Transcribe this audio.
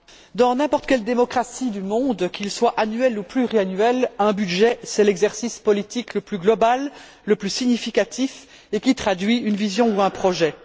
Monsieur le Président, dans n'importe quelle démocratie du monde, qu'il soit annuel ou pluriannuel, le budget est l'exercice politique le plus global, le plus significatif, qui traduit une vision ou un projet.